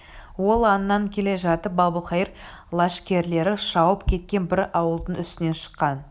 ол аңнан келе жатып әбілқайыр лашкерлері шауып кеткен бір ауылдың үстінен шыққан